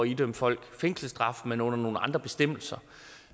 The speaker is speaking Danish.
idømme folk fængselsstraf men under nogle andre bestemmelser